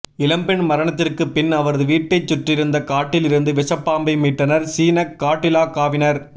இளம்பெண் மரணத்திற்குப் பின் அவரது வீட்டைச் சுற்றியிருந்த காட்டில் இருந்து விஷப்பாம்பை மீட்டனர் சீனக் காட்டிலாகாவினர்